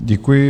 Děkuji.